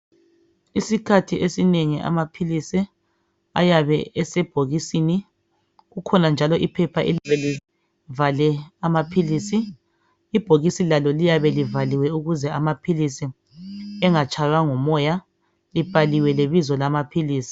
Isikhathi esinengi amaphilisi ayabe esebhokisini kukhona njalo iphepha elivale amaphilisi, ibhokisi lalo liyabe livaliwe ukuze amaphilisi engatshaywa ngumoya, libhaliwe lebizo lamaphilisi.